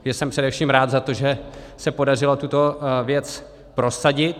Já jsem především rád za to, že se podařilo tuto věc prosadit.